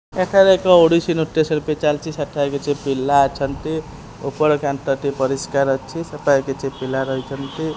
ଏଠାରେ ଏକ ଓଡ଼ିଶି ନୂଟ୍ୟ ଶିଳ୍ପୀ ଚାଲିଚି ସେଠାରେ କିଛି ପିଲା ଅଛନ୍ତି ଉପରେ କାନ୍ଥଟି ପରିସ୍କାର ଅଛି ସେଠାରେ କିଛି ପିଲା ରହିଚନ୍ତି।